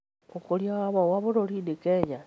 Ũkũria wa mahũa bũrũrinĩ Kenya